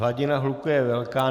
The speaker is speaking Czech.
Hladina hluku je velká.